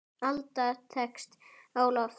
Alda tekst á loft.